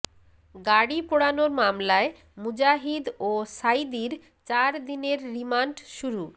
গাড়ি পোড়ানোর মামলায় মুজাহিদ ও সাঈদীর চারদিনের রিমান্ড শুরু